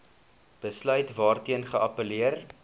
besluit waarteen geappelleer